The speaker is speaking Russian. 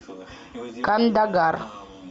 кандагар